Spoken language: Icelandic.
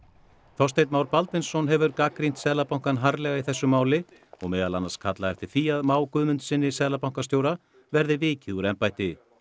Þorsteinn Már Baldvinsson hefur gagnrýnt Seðlabankann harðlega í þessu máli og meðal annars kallað eftir því að Má Guðmundssyni seðlabankastjóra verði vikið úr embætti